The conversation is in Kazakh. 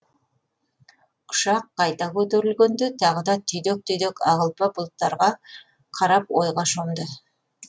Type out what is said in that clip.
ұшақ қайта көтерілгенде тағы да түйдек түйдек ақ ұлпа бұлттарға қарап ойға шомды